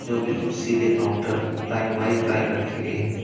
जो बिल्कुल सीधे काउंटर लाइन वाइज लाइन रखी गई हैं।